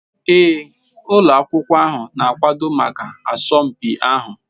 Ee ụlọ akwụkwọ ahụ na-akwado maka asọmpi ahụ.